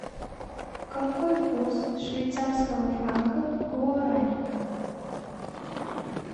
какой курс швейцарского франка к гуарани